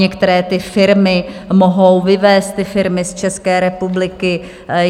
Některé ty firmy mohou vyvést ty firmy z České republiky.